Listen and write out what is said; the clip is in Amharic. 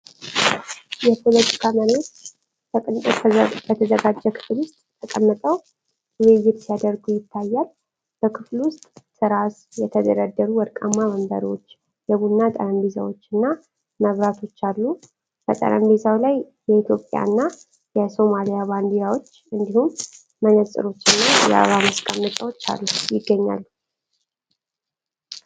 የፖለቲካ መሪዎች በቅንጦት በተዘጋጀ ክፍል ውስጥ ተቀምጠው ውይይት ሲያደርጉ ይታያሉ። በክፍሉ ውስጥ ትራስ የተደረደሩ ወርቃማ ወንበሮች፣ የቡና ጠረጴዛዎች እና መብራቶች አሉ። በጠረጴዛው ላይ የኢትዮጵያ እና የሶማሊያ ባንዲራዎች እንዲሁም መነጽሮችና የአበባ ማስቀመጫዎች ይገኛሉ።